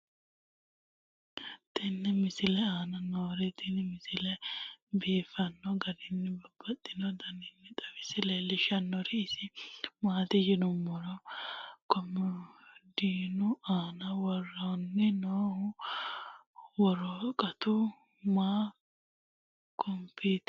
tenne misile aana noorina tini misile biiffanno garinni babaxxinno daniinni xawisse leelishanori isi maati yinummoro komodiinnu aanna worrenna noohu woraqattu nna konpitere noo wonbarenno heedhanna.